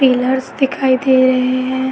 Pillars दिखाई दे रहे हैं।